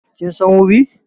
Kin san wuri?